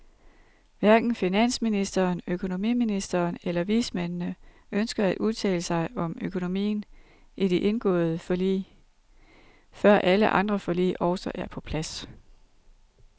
Hverken finansministeren, økonomiministeren eller vismændene ønsker at udtale sig om økonomien i de indgåede forlig, før alle andre forlig også er på plads.